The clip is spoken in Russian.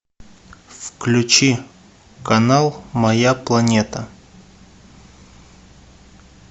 включи канал моя планета